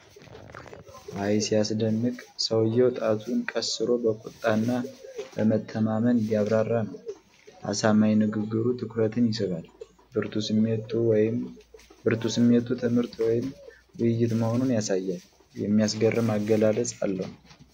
አይ ሲያስደንቅ! ሰውየው ጣቱን ቀስሮ በቁጣ እና በመተማመን እያብራራ ነው። አሳማኝ ንግግሩ ትኩረትን ይስባል። ብርቱ ስሜቱ ትምህርት ወይም ውይይት መሆኑን ያሳያል። የሚያስገርም አገላለጽ አለው።